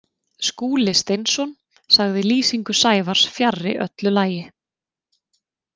Skúli Steinsson sagði lýsingu Sævars fjarri öllu lagi.